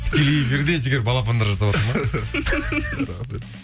тікелей эфирде жігер балапандар жасаватыр ма